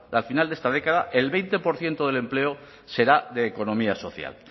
al final de esta década el veinte por ciento del empleo será de economía social